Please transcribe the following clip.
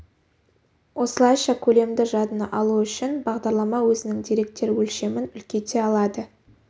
осылайша көлемді жадыны алу үшін бағдарлама өзінің деректер өлшемін үлкейте алады